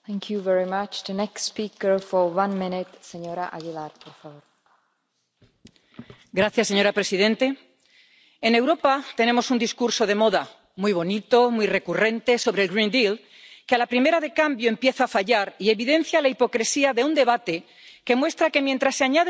Señora presidente, en Europa tenemos un discurso de moda muy bonito, muy recurrente, sobre el que a las primeras de cambio empieza a fallar y evidencia la hipocresía de un debate, que muestra que, mientras se añaden nuevas obligaciones ambientales a nuestros agricultores, disminuyen paulatinamente los requisitos de los productos importados.